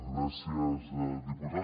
gràcies diputat